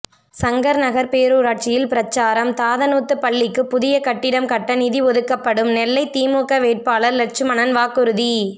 சங்கர்நகர் பேரூராட்சியில் பிரசாரம் தாதனூத்து பள்ளிக்கு புதிய கட்டிடம் கட்ட நிதி ஒதுக்கப்படும் நெல்லை திமுக வேட்பாளர் லெட்சுமணன் வாக்குறுதி